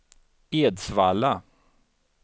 Edsvalla